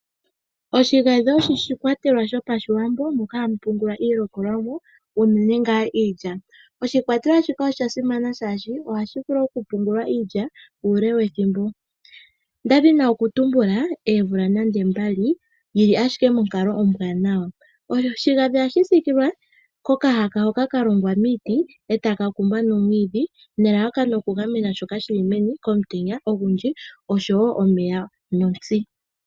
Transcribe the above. Oshigadhi osho oshikwatelwa shasimana momiithigululwakalo gwaawambo. Ohashi longithwa okupungula iilikolwamo iilya uule wethimbo nonande omvula mbaali yili monkalo ombwanawa. Ohaku sikilwa nokahaka kalongwa miiti etaka kumbwa nomwiidhi nelalakano okugamena shoka shapungulwa meni komutenya, omeya nosho woo otsi.